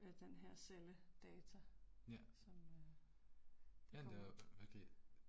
den her celledata som øh, du får